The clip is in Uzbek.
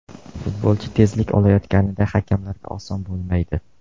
Futbolchi tezlik olayotganida hakamlarga oson bo‘lmaydi.